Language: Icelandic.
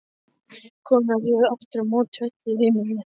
Konurnar réðu aftur á móti öllu á heimilinu.